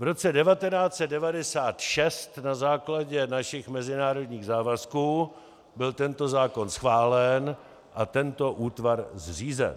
V roce 1996 na základě našich mezinárodních závazků byl tento zákon schválen a tento útvar zřízen.